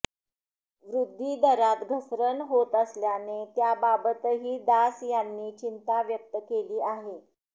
वृद्धी दरात घसरण होत असल्याने त्याबाबतही दास यांनी चिंता व्यक्त केली आहे